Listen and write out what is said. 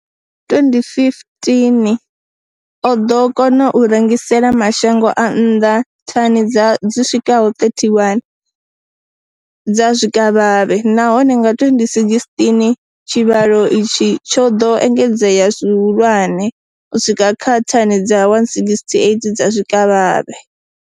Nga 2015, o ḓo kona u rengisela mashango a nnḓa thani dzi swikaho 31 dza zwikavhavhe, nahone nga 2016 tshivhalo itshi tsho ḓo engedzea zwihulwane u swika kha thani dza 168 dza zwikavhavhe.